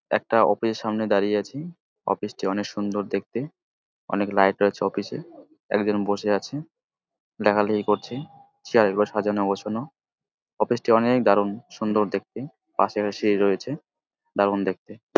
একটা অফিস -এর সামনে দাঁড়িয়ে আছি-ই অফিস -টি অনেক সুন্দর দেখতে অনেক লাইট রয়েছে অফিস -এ একজন বসে আছে ডাকাডাকি করছে চেয়ার -গুলো সাজানো গোছানো অফিস -টি অনেক দারুন সুন্দর দেখতে পাশে একটা সিঁড়ি রয়েছে দারুন দেখতে ।